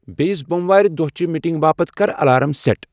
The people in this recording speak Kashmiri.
بییِس بوم وارِ دۄہ چِہ میٹینگ باپتھ کر الارام سیٹ ۔